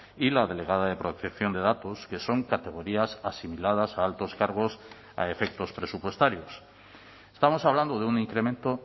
y la delegada de protección de datos que son categorías asimiladas a altos cargos a efectos presupuestarios estamos hablando de un incremento